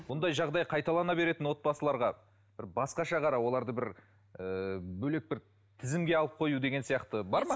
бұндай жағдай қайталана беретін отбасыларға бір басқаша қарау оларды бір ыыы бөлек бір тізімге алып қою деген сияқты бар ма